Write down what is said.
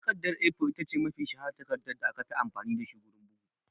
Takardar (A4) ita ce mafi shaharar takarda da aka fi amfani da shi wurin bugu